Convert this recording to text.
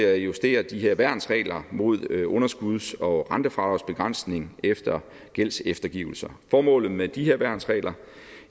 at justere de her værnsregler mod underskuds og rentefradragsbegrænsning efter gældseftergivelser formålet med de her værnsregler